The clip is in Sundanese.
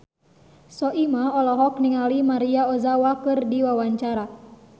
Soimah olohok ningali Maria Ozawa keur diwawancara